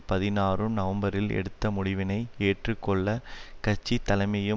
பதினாறும் நவம்பரில் எடுத்த முடிவினை ஏற்று கொள்ள கட்சி தலைமையும்